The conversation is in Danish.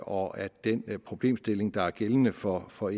og at den problemstilling der er gældende for for